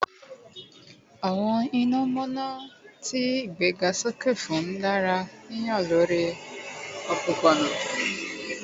Awọn inomonomono ti a igbegasoke fun dara hihan lori ni opopona